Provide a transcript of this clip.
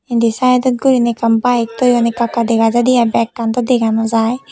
indi sidot gurine ekkan bike toyon ekka ekka dega jaide ai bekkan do dega no jai.